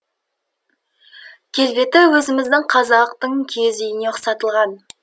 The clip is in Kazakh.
келбеті өзіміздің қазақтың киіз үйіне ұқсатылған